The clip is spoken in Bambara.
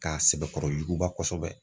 K'a sɛbɛkɔrɔ yuguba kosɛbɛ.